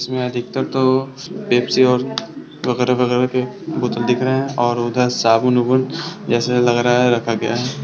इसमें अधितकर तो पेप्सी और वगैरा वगैरा के बोतल दिख रहे है और उधर साबुन उबून जैसे लग रहा है रखा गया है।